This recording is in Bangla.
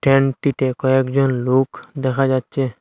স্ট্যান্ডটিতে কয়েকজন লোখ দেখা যাচ্ছে।